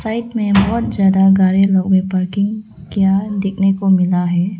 Side में बहोत ज्यादा गाड़ी लोग भी पार्किंग कीया देखने को मिला है।